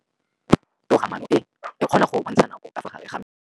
Toga-maanô e, e kgona go bontsha nakô ka fa gare ga metsi.